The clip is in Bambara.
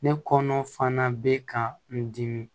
Ne kɔnɔ fana bɛ ka n dimi